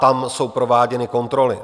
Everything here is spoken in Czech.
Tam jsou prováděny kontroly.